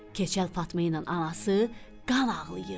Keçəl Fatma ilə anası qan ağlayırdı.